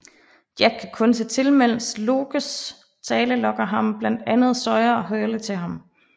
Jack kan kun se til mens Lockes tale lokker blandt andet Sawyer og Hurley til ham